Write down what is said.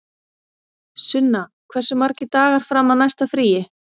Sunna, hversu margir dagar fram að næsta fríi?